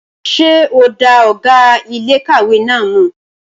Ṣé o dá ọ̀gá iléèkàwé náà mọ̀?